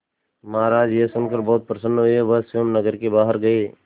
महाराज यह सुनकर बहुत प्रसन्न हुए वह स्वयं नगर के बाहर गए